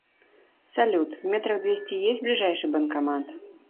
салют в метрах двести есть ближайший банкомат